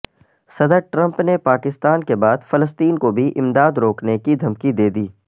صدر ٹرمپ نے پاکستان کے بعد فلسطین کو بھی امداد روکنے کی دھمکی دے دی